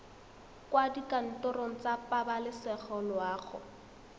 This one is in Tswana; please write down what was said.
kwa dikantorong tsa pabalesego loago